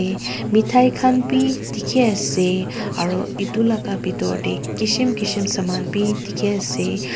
mithai khan bhi dekhi ase aru etu laga bitor te kishim kishim saman bhi dekhi ase.